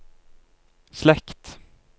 slekt